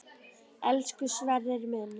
Elsku Sverrir minn.